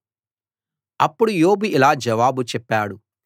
అప్పుడు యోబు ఇలా జవాబు చెప్పాడు